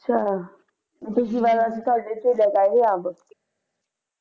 ਚੱਲ ਪਿਛਲੀ ਵਾਰ ਤਾਂ ਸਾਡੇ ਤਕ ਆਏ ਸੀ ਅੰਬ